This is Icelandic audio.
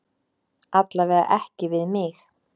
Alla vega ekki við mig.